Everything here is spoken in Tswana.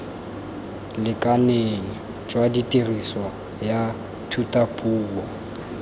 lekaneng jwa tiriso ya thutapuo